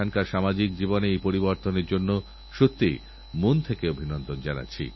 অসুস্থ হলাম তো মনে হয় তাড়াতাড়ি সুস্থ হয়ে যাই সেই জন্য যে কোন অ্যান্টিবায়োটিকখেয়ে ফেলি